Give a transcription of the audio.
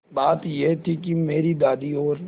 बात यह थी कि मेरी दादी और